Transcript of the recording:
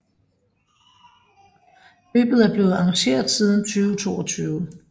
Løbet er blevet arrangeret siden 2022